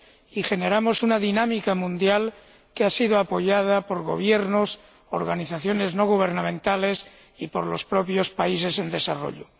y generamos una dinámica mundial que ha sido apoyada por gobiernos, organizaciones no gubernamentales y por los propios países en desarrollo.